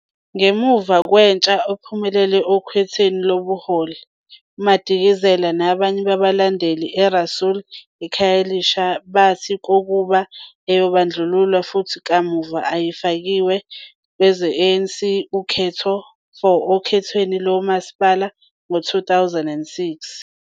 Ngemva Skwatsha ophumelele okhethweni lobuholi, Madikizela nabanye babalandeli Rasool e- eKhayelitsha bathi kokuba ayebandlululwa futhi kamuva ayifakiwe ngangokunokwenzeka-ANC ukhetho for okhethweni lomasipala ngo-2006.